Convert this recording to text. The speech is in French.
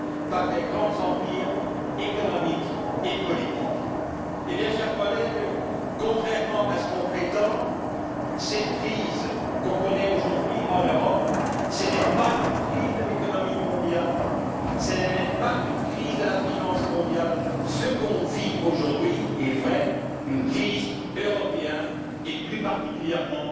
par de grands empires économiques et politiques. Chers collègues, contrairement à que l'on prétend, cette crise que nous connaissons aujourd'hui en Europe n'est pas une crise de l'économie mondiale, ce n'est même pas une crise de la finance mondiale, ce que nous vivons aujourd'hui est en réalité une crise européenne et, plus particulièrement,